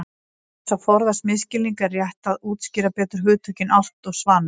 Til þess að forðast misskilning er rétt að útskýra betur hugtökin álft og svanur.